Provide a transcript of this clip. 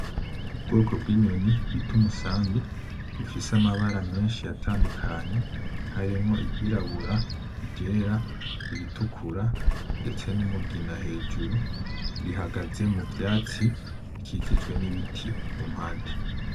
Ubwoko bwinyoni bita umusambi ifise amabara menshi atandukanye , harimwo iryirabura, iryera, iritukura , ndetse numugina hejuru ,ihagaze muvyatsi bikikijwe nibiti kumpande .